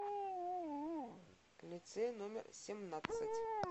лицей номер семнадцать